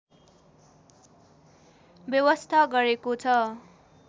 व्यवस्था गरेको छ